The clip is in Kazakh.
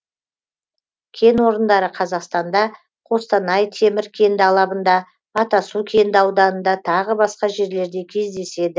кен орындары қазақстанда қостанай темір кенді алабында атасу кенді ауданында тағы басқа жерлерде кездеседі